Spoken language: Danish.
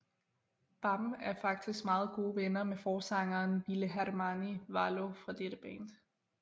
Bam er faktisk meget gode venner med forsangeren Ville Hermanni Valo fra dette band